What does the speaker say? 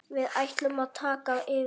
Við ætlum að taka yfir.